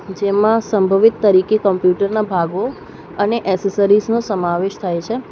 જેમાં સંભવિત તરીકે કોમ્પ્યુટરના ભાગો અને એસેસરીઝ નો સમાવેશ થાય છે.